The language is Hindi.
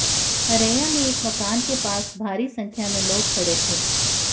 हरैया में एक मकान के पास भारी संख्या में लोग खड़े थे